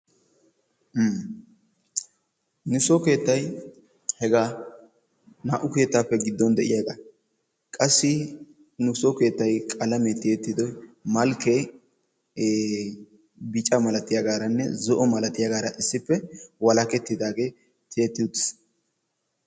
Nuso keettay hegaa. Naa"u keettaappe gidduwan de'iyagaa. Qassi nuso keettay qalamiya tiyettido malkkee ee bica milatiyagaaranne bica milatiyagaara issippe walakettidaagee tiyetti uttiis.